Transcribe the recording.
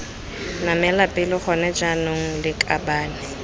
namela pele gone jaanong lakabane